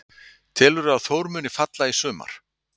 Telurðu að Þór muni falla í sumar?